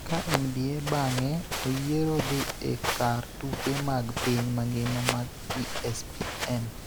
ka NBA bang�e oyiero dhi e kar tuke mag piny mangima mag ESPN